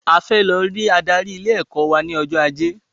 A fẹ lọ rí adarí ilé ẹ̀kọ́ wà ní ọjọ́ ajé